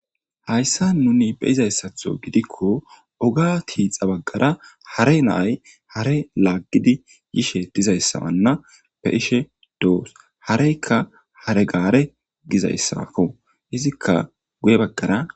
Haysa nuni be'izaysatho gidiko oga tixa bagara hare nay hare lagidi yishe dizaysana be'ishe dos hareyka hair gare gizaysako izika guye bagara